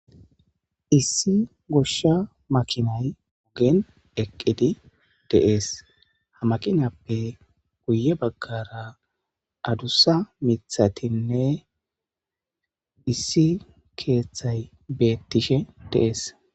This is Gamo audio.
Issi gosha makinay ogen eqid de'es Ha makinappe giya bagara adusa mithatinne issi kethay betishe de'es